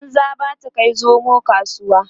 banza ba ta Kai zomo kasuwa